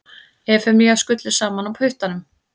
Efemíu skullu saman á puttanum.